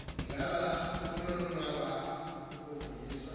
ngaba kukonwaba ukuvuyiswa